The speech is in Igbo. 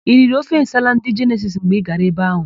I riri ofe nsala ndị Jenesisi mgbe Ị gara ebe áhụ̀?